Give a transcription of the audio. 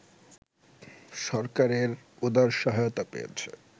সরকারের উদার সহায়তা পেয়েছে